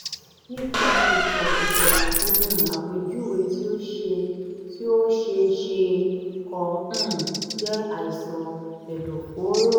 nípa ìtàn ìtàn àti um àpèjúwe tí o ṣe ó ṣe é ṣe kó um jẹ́ àìsàn ẹ̀dọ̀fóró